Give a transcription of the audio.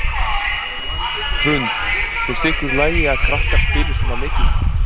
Hrund: Finnst ykkur í lagi að krakkar spili svona leiki?